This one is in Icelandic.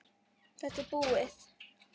Þetta er búið.